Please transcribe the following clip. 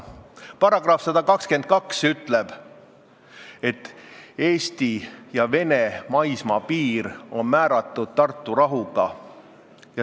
Paragrahv 122 ütleb, et Eesti ja Vene maismaapiir on määratud Tartu rahulepinguga.